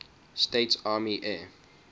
states army air